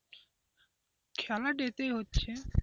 খেলা day তেই হচ্ছে।